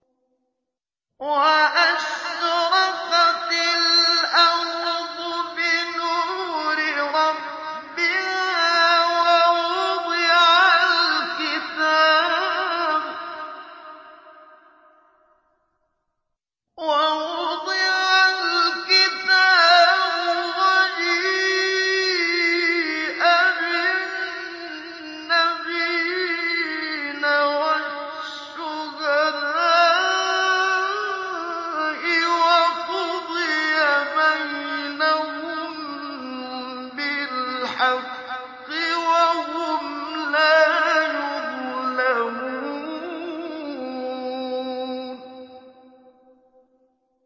وَأَشْرَقَتِ الْأَرْضُ بِنُورِ رَبِّهَا وَوُضِعَ الْكِتَابُ وَجِيءَ بِالنَّبِيِّينَ وَالشُّهَدَاءِ وَقُضِيَ بَيْنَهُم بِالْحَقِّ وَهُمْ لَا يُظْلَمُونَ